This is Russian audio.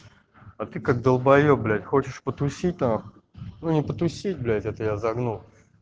а ты как долбаеб блять хочешь потусить нах ну не потусить блять это я загнул